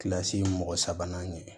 Kilasi mɔgɔ sabanan ɲɛ